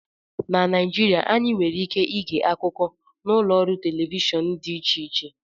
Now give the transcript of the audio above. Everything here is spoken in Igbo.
Na Naijirịa, anyị nwere ike ịge akụkọ n'ụlọ ọrụ telivishọn dị iche iche